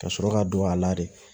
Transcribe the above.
Ka sɔrɔ ka don a la de